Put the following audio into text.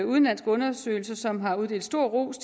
udenlandske undersøgelser som har uddelt stor ros